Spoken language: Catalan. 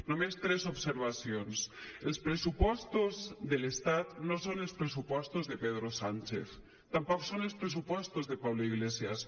només tres observacions els pressupostos de l’estat no són els pressupostos de pedro sánchez tampoc són els pressupostos de pablo iglesias